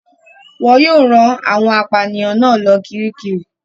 Wọn yóò rán àwọn apànìyàn náà lọ Kiríkirì.